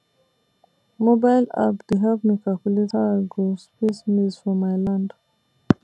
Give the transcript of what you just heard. mobile app dey help me calculate how i go space maize for my land